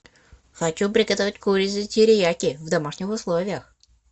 хочу приготовить курицу терияки в домашних условиях